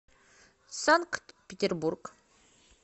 санкт петербург